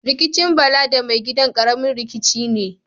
Rikicin Bala da mai gidan, ƙaramin rikici ne.